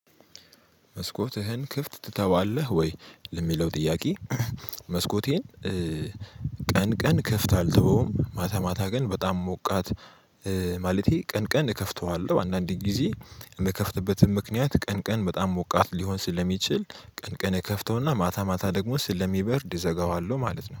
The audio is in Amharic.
መስኮትህን ክፍት ትተዋለህ ወይ ለሚለው ጥያቄ? መስኮቴን ቀንቀን ክፍት አል ተወውም። ማታ ማታ ግን በጣም ሞቃት ማለቴ ቀን ቀን እከፍተዋለሁ። አንዳንዴ ጊዜ የምከፍትበትን ምክንያት ቀን ቀን በጣም ሞቃት ሊሆን ስለሚችል ቀን ቀን እከፍተውና ማታ ማታ ደግሞ ስለሚበርድ እዘጋዋለሁ ማለት ነው